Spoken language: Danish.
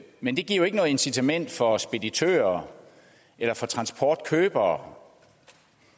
men det giver jo ikke noget incitament for speditører eller transportkøbere